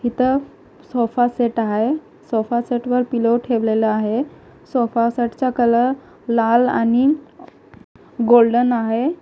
इथं sofa set आहे sofa सेटवर पिलो ठेवलेला आहे सोपासेटचा कलर लाल आणि गोल्डन आहे.